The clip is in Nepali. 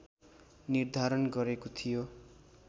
निर्धारण गरेको थियो